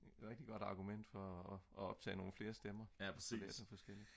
rigtig godt argument for at optage nogle flere stemmer